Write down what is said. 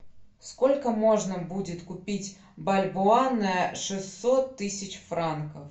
сколько можно будет купить бальбоа на шестьсот тысяч франков